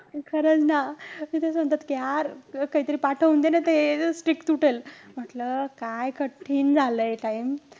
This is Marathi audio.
खरंच ना, ते असं म्हणतात कि काहीतरी पाठवून दे ना. ते streak तुटेल. म्हंटल, काय कठीण झालंय time.